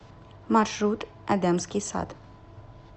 маршрут эдемский сад